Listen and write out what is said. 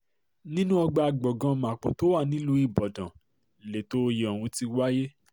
nínú ọgbà gbọ̀ngàn mapo tó wà nílùú ibodàn lẹ̀tọ́ oyè ọ̀hún ti wáyé